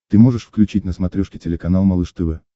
ты можешь включить на смотрешке телеканал малыш тв